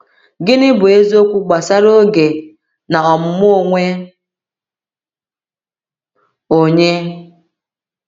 Gịnị bụ eziokwu gbasara oge na ọmụmụ onwe onye?